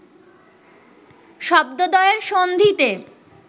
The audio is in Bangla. শব্দদ্বয়ের সন্ধিতে